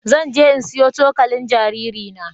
Zan je in sayo cokalin jaririna.